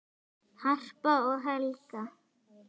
Harpa og Helga.